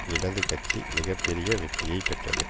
இடது கட்சி மிக பெரிய வெற்றியை பெற்றது